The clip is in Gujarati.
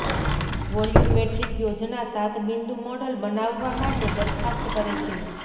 વોલ્યુમેટ્રિક યોજના સાત બિંદુ મોડલ બનાવવા માટે દરખાસ્ત કરે છે